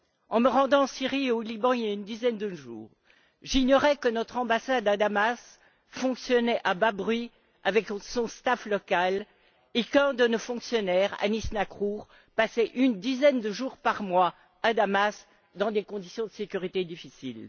En me rendant en Syrie et au Liban, il y a une dizaine de jours, j'ignorais que notre ambassade à Damas fonctionnait à bas bruit avec son personnel local et qu'un de nos fonctionnaires, Anis Nacrour, passait une dizaine de jours par mois à Damas dans des conditions de sécurité difficiles.